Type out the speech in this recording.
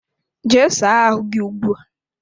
Jee saa ahụ gị ugbu a!